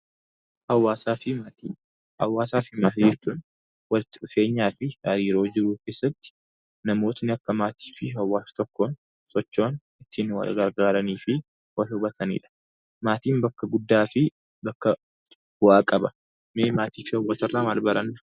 Hawaasaa fi Maatii Hawaasaa fi maatii jechuun walitti dhufeenyaa fi hariiroo jiruu keessatti namootni akka maatii fi hawaasa tokkoon socho'an, ittiin wal gargaaranii fi wal hubatani dha. Maatiin bakka guddaa fi bakka bu'aa qaba. Mee maatii fi hawaasa irraa maal baranna?